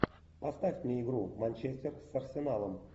поставь мне игру манчестер с арсеналом